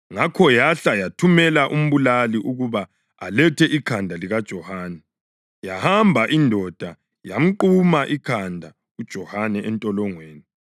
Ngakho yahle yathumela umbulali ukuba alethe ikhanda likaJohane. Yahamba indoda yamquma ikhanda uJohane entolongweni,